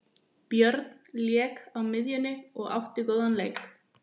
Björn lék á miðjunni og átti góðan leik.